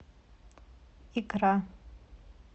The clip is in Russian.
икра